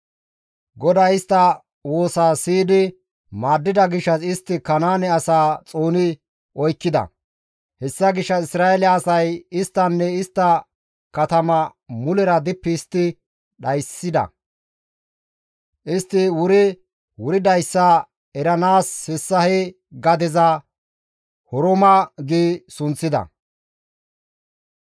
GODAY istta woosa siyidi maaddida gishshas istti Kanaane asaa xooni oykkida; hessa gishshas Isra7eele asay isttanne istta katama mulera dippi histti dhayssida; istti wuri wuridayssa eranaas hessa he gadeza, «Horma» gi sunththida.